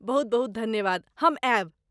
बहुत बहुत धन्यवाद। हम आयब।